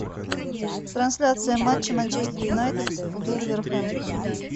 трансляция матча манчестер юнайтед вулверхэмптон